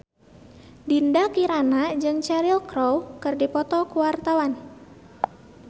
Dinda Kirana jeung Cheryl Crow keur dipoto ku wartawan